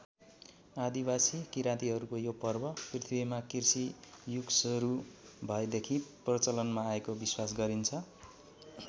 आदिवासी किरातीहरूको यो पर्व पृथ्वीमा कृषि युगसरू भएदेखि प्रचलनमा आएको विश्वास गरिन्छ।